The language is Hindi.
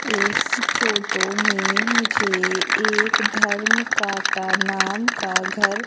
इस फोटो में मुझे एक धर्म काटा नाम का घर--